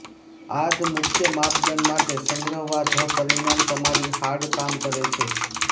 આ ધ મુખ્ય માપદંડ માટે સંગ્રહવા ધ પરિણામ તમારી હાર્ડ કામ કરે છે